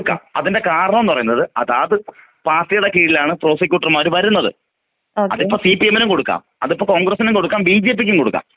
കൊടുക്കാം. അതിന്റെ കാരണം ന്ന് പറീണത് അതാത് പാർട്ടിയുടെ കീഴിലാണ് പ്രോസിക്യൂട്ടർമാർ വരുന്നത്.അതിപ്പൊ സിപിഎം നും കൊടുക്കാം.അതിപ്പൊ കോൺഗ്രസിനും കൊടുക്കാം ബിജെപി ക്കും കൊടുക്കാം.